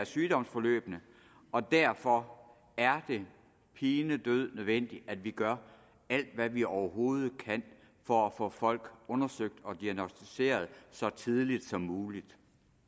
sygdomsforløbene og derfor er det pinedød nødvendigt at vi gør alt hvad vi overhovedet kan for at få folk undersøgt og diagnosticeret så tidligt som muligt